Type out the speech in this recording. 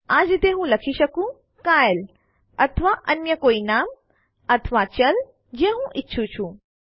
આ જ રીતે હું લખી શકું કાયલે અથવા અન્ય કોઇ નામ અથવા ચલ જે હું ઈચ્છું છું